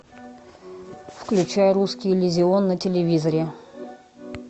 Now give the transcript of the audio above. включай русский иллюзион на телевизоре